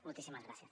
moltíssimes gràcies